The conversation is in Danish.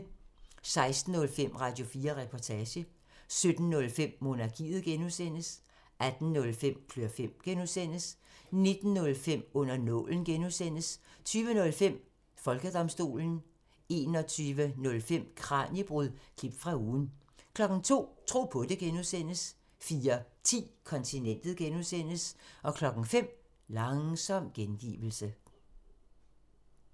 16:05: Radio4 Reportage 17:05: Monarkiet (G) 18:05: Klør fem (G) 19:05: Under nålen (G) 20:05: Folkedomstolen 21:05: Kraniebrud – klip fra ugen 02:00: Tro på det (G) 04:10: Kontinentet (G) 05:00: Langsom gengivelse